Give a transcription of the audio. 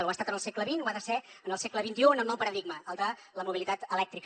ho ha estat en el segle xx ho ha de ser en el segle xxi amb un nou paradigma el de la mobilitat elèctrica